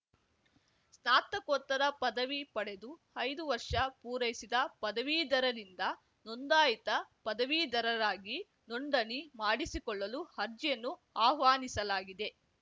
ಸ್ನಾತಕೋತ್ತರ ಪದವಿ ಪಡೆದು ಐದು ವರ್ಷ ಪೂರೈಸಿದ ಪದವೀಧರರಿಂದ ನೋಂದಾಯಿತ ಪದವೀಧರರಾಗಿ ನೋಂದಣಿ ಮಾಡಿಸಿಕೊಳ್ಳಲು ಅರ್ಜಿಯನ್ನು ಆಹ್ವಾನಿಸಲಾಗಿದೆ